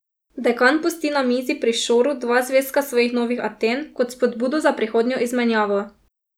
Dekan pusti na mizi pri Šoru dva zvezka svojih Novih Aten kot spodbudo za prihodnjo izmenjavo.